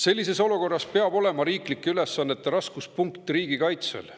Sellises olukorras peab riiklike ülesannete raskuspunkt olema riigikaitsel.